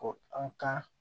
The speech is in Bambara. Ko an ka